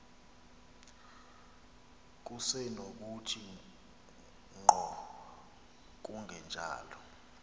kusenokuthi ngqo kungenjalo